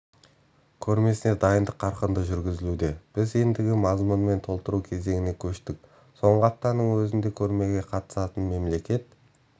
көрмесіне дайындық қарқынды жүргізілуде біз ендігі мазмұнмен толтыру кезеңіне көштік соңғы аптаның өзінде көрмеге қатысатындығын мемлекет